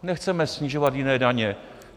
Nechceme snižovat jiné daně.